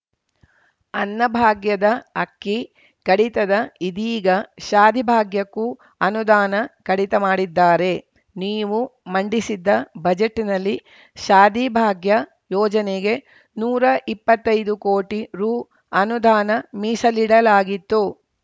ಅನ್ನಭಾಗ್ಯದ ಅಕ್ಕಿ ಕಡಿತದ ಇದೀಗ ಶಾದಿ ಭಾಗ್ಯಕ್ಕೂ ಅನುದಾನ ಕಡಿತ ಮಾಡಿದ್ದಾರೆ ನೀವು ಮಂಡಿಸಿದ್ದ ಬಜೆಟ್‌ನಲ್ಲಿ ಶಾದಿ ಭಾಗ್ಯ ಯೋಜನೆಗೆ ನೂರಾ ಇಪ್ಪತ್ತೈದು ಕೋಟಿ ರು ಅನುದಾನ ಮೀಸಲಿಡಲಾಗಿತ್ತು